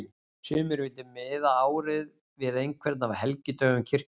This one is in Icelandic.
Sumir vildu miða árið við einhvern af helgidögum kirkjunnar.